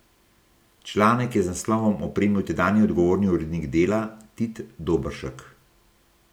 Članek je z naslovom opremil tedanji odgovorni urednik Dela Tit Doberšek.